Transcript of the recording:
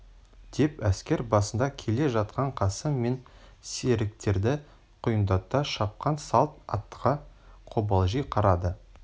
деп әскер басында келе жатқан қасым мен серіктері құйындата шапқан салт аттыға қобалжи қарады